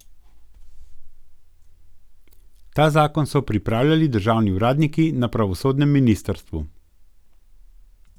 Ta zakon so pripravljali državni uradniki na pravosodnem ministrstvu.